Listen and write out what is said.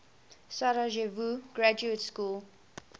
sarajevo graduate school